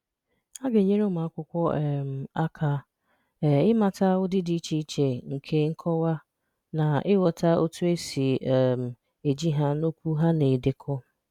A ga-enyere ụmụ akwụkwọ um aka um ịmata ụdị dị iche iche nke nkọwa na ịghọta otu esi um eji ha na okwu ha na-edekọ.